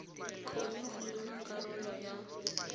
kgone go nna karolo ya